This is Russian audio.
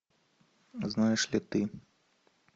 знаешь ли ты